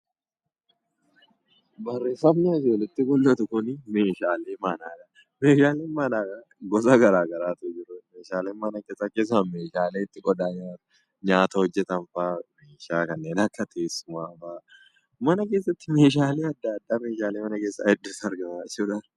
Meeshaaleen manaa gosa garaa garaatu jira. Meeshaalee manaa keessaa meeshaalee itti nyaata nyaatan, itti nyaata hojjetan fa'aa, meeshaalee kannee akka teessumaa fa'aa, mana keessatti meeshaalee addaa addaa gosa hedduutu argama.